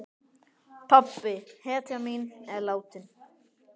Pabbi, hetjan mín, er látinn.